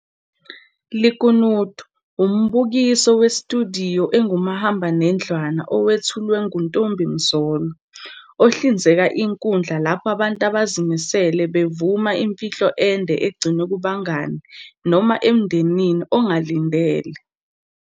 Lekunutu - Umbukiso wesitudiyo esingumahamba nendlwana owethulwe nguNtombi Mzolo, ohlinzeka inkundla lapho abantu abazimisele bevuma imfihlo ende egcinwe kubangani noma emndenini ongalindele.